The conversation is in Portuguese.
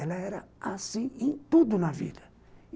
Ela era assim em tudo na vida.